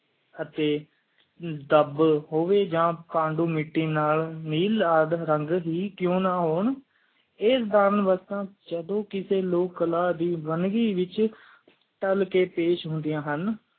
ਅਤਿ ਦੱਬ ਹੋਵਈ ਆ ਪਾਣੀ ਮਿੱਟੀ ਨਾਲ ਨੀਲ ਅੱਧ ਰੰਗ ਹੀ ਕ਼ ਨਾ ਹੂਨ ਇਸ ਜਿਦੋ ਕਿਸੀ ਲੋਕ ਕਲਾ ਦੀ ਵਨਵੀ ਵਿਚ ਪੇਸ਼ ਹੁੰਦੀਆਂ ਹਨ